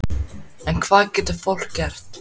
En hvað getur fólk gert?